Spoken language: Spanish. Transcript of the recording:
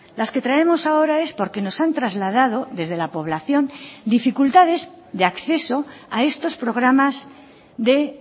las que traemos ahora es porque nos han trasladado desde la población dificultades de acceso a estos programas de